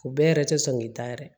U bɛɛ yɛrɛ tɛ sɔn k'i ta yɛrɛ